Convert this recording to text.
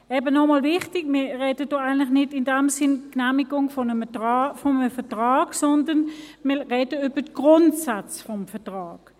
Eben, noch einmal wichtig: Wir sprechen nicht über die Genehmigung eines Vertrags, sondern wir sprechen über die Grundsätze des Vertrags.